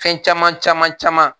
Fɛn caman caman caman